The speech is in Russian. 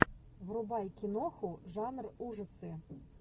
врубай киноху жанр ужасы